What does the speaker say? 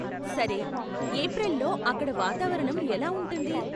సరే, ఏప్రిల్లో అక్కడ వాతావరణం ఎలా ఉంటుంది?